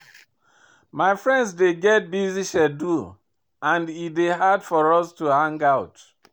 My friend dey get busy schedule and e dey hard for us to hang out.